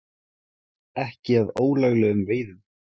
Ekki að ólöglegum veiðum